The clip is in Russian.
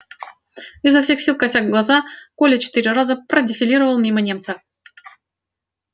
изо всех сил кося глаза коля четыре раза продефилировал мимо немца